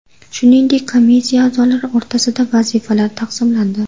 Shuningdek, komissiya a’zolari o‘rtasida vazifalar taqsimlandi.